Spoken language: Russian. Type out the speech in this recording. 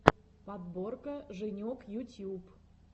подборка женек ютьюб